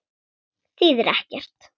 Þýðir ekkert.